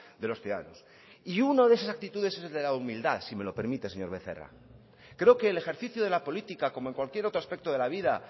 de los ciudadanos y uno de esas actitudes es el de la humildad si me lo permite señor becerra creo que el ejercicio de la política como en cualquier otro aspecto de la vida